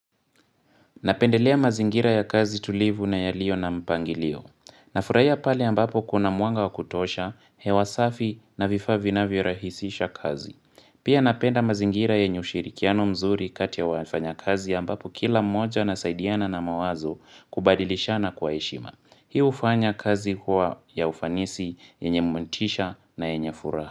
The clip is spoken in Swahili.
Napendelea mazingira ya kazi tulivu na yaliyo na mpangilio. Nafurahia pale ambapo kuna mwanga wa kutosha, hewa safi na vifaa vinavyorahisisha kazi. Pia napenda mazingira yenyw ushirikiano mzuri kati ya wafanyakazi ambapo kila moja anasaidiana na mawazo kubadilishana kwa heshima. Hii hufanya kazi huwa ya ufanisi, yenye motisha na yenye furaha.